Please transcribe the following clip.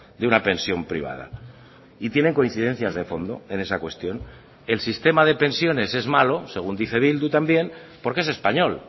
de una pensión privada y tienen coincidencias de fondo en esa cuestión el sistema de pensiones es malo según dice bildu también porque es español